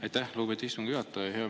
Aitäh, lugupeetud istungi juhataja!